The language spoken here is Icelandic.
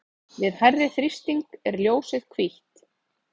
við hærri þrýsting er ljósið hvítt